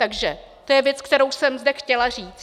Takže to je věc, kterou jsem zde chtěla říct.